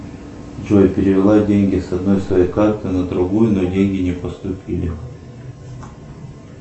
джой перевела деньги с одной своей карты на другую но деньги не поступили